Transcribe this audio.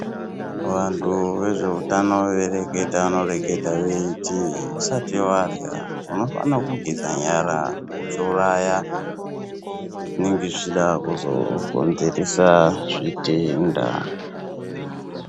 Vantu vezveutano veireketa vanoreketa veiti, usati varya unofanira kugeza nyara uchiuraya zviro zvinenge zvichida kuzokonzeresa zvitenda.